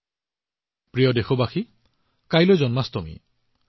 মোৰ মৰমৰ দেশবাসী কাইলৈ জন্মাষ্টমীৰ মহাপৰ্ব